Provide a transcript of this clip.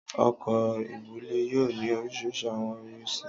ọkọ́ íbulẹ̀ yoo ni orisirisi awọn irisi.